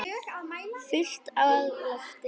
Fullt af lofti.